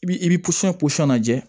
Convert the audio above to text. I bi i bi pɔsɔn pɔsɔn lajɛ